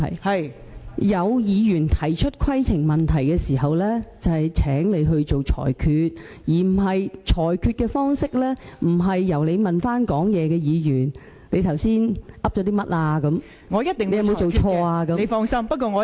當有議員提出規程問題的時候，就會請你作出裁決，而你裁決的方式，並不是詢問發言的議員剛才說了甚麼，詢問他有否做錯等......